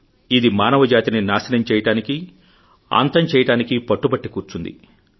ఇది మానవజాతిని నాశనం చేయడానికీ అంతం చేయడానికీ పట్టుబట్టి కూర్చుంది